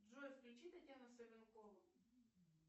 джой включи татьяну савенкову